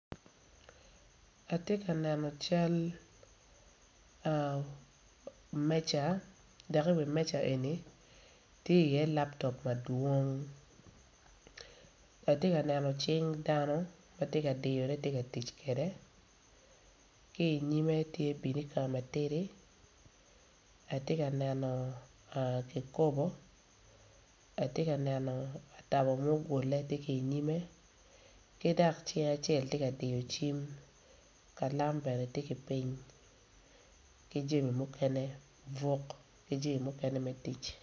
Atye ka neno cal dok i wi meja eni tye laptop mapol atye ka neno cing dano ma tye ka tic kwede ki i nyime tye binika matidi atye ka neno ki kobo atye ka neno atabo mugule tye i nyimme ki dok cing acel tye ka diyo cim dok ka lam tye ki piny.